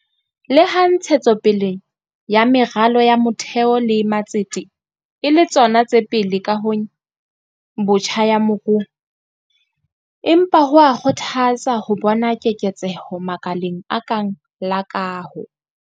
Leha ntshetso pele ya meralo ya motheo le matsete e le tsona tse pele kahong botjha ya moruo, empa ho a kgothatsa ho bona keketseho makaleng a kang la kaho.